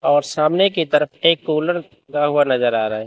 और सामने की तरफ एक कूलर चलता नजर आ रहा है।